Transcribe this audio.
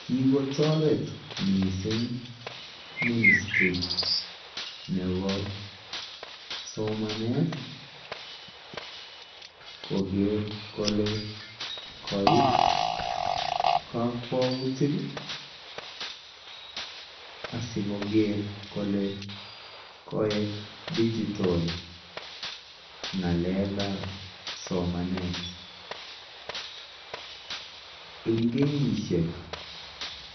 kigotoret mising ministry nebo somaneet kogeer kole koiib kokwoutik iih asigogerr kole koek digital ngaleek ab somaneet, e n kenyisyeek